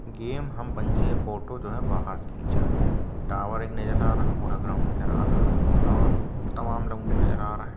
Game हम photo जो है बाहर से खीचां है | टॉवर एक नजर आ रहा है पूरा ग्राउन्ड नजर आ रहा है और तमाम लोंडे नजर आ रहे हैं ।